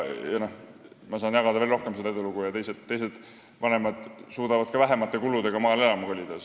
Ma saaksin veel rohkem jagada oma edulugu ja teised vanemad suudaksid ka väiksemate kuludega maale elama kolida.